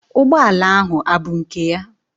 Ụgbọala ahụ abụ nke ya?